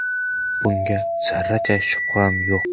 Bunga zarracha shubham yo‘q.